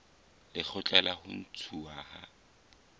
lekgotla la ho ntshuwa ha